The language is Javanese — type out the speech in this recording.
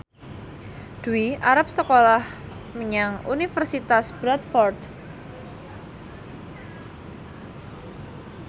Dwi arep sekolah menyang Universitas Bradford